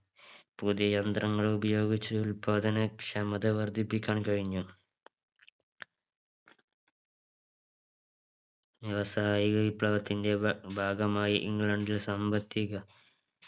പുതിയ യന്ത്രങ്ങൾ ഉപയോഗിച്ച് ഉത്പാദന ക്ഷമത വർധിപ്പിക്കാൻ കഴിഞ്ഞു വ്യവസായിക വിപ്ലവത്തിന്റെ ഭാ ഭാഗമായി ഇംഗ്ലണ്ടിൽ സാമ്പത്തിക